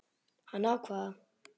Hann ákvað það.